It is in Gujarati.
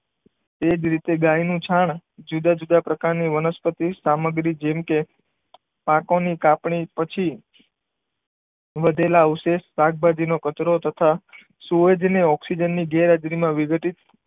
તે જ રીતે ગાયનું છાણ જુદા જુદા પ્રકારની વનસ્પતિ સામગ્રી જેમ કે, પાકોની કાપણી પછી, વધેલા અવશેષ શાકભાજીનો કચરો તથા સુએજ ને ઓક્સિજનની ગેરહાજરીમાં વિઘટિત,